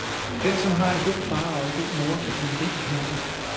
Den, som har en god far og en god mor, kan blive rig hurtigt.